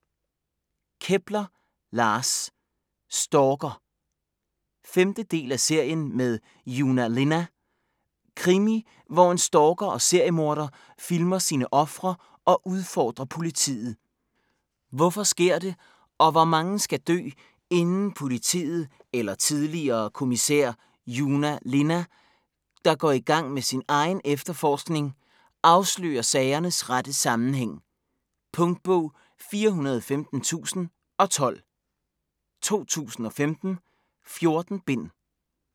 Kepler, Lars: Stalker 5. del af serien med Joona Linna. Krimi hvor en stalker og seriemorder filmer sine ofre og udfordrer politiet. Hvorfor sker det, og hvor mange skal dø, inden politiet eller tidligere kommissær Joona Linna, der går i gang med sin egen efterforskning, afslører sagernes rette sammenhæng? Punktbog 415012 2015. 14 bind.